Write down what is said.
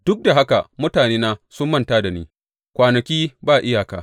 Duk da haka mutanena sun manta da ni, kwanaki ba iyaka.